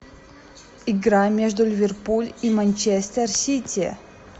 игра между ливерпуль и манчестер сити